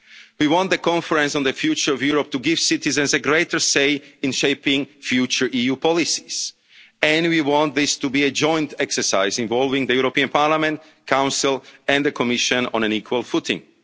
has not. We want the Conference on the Future of Europe to give citizens a greater say in shaping future EU policies, and we want this to be a joint exercise, involving the European Parliament, the Council and the Commission on an